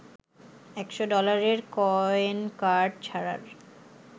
১০০ ডলারের coin card ছাড়ার